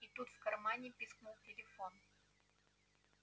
и тут в кармане пискнул телефон